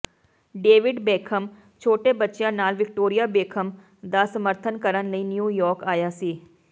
David Beckham ਛੋਟੇ ਬੱਚਿਆਂ ਨਾਲ ਵਿਕਟੋਰੀਆ ਬੇਖਮ ਦਾ ਸਮਰਥਨ ਕਰਨ ਲਈ ਨਿਊ ਯਾਰਕ ਆਇਆ ਸੀ